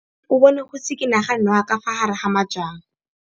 O bone go tshikinya ga noga ka fa gare ga majang.